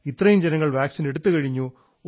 ഇത്രയും ജനങ്ങൾ വാക്സിൻ എടുത്തുകഴിഞ്ഞു